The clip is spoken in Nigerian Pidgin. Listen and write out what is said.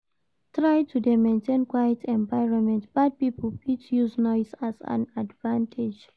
Try to de maintain quite environment bad pipo fit use noise as advantage